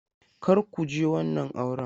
Kar ku je wannan auren!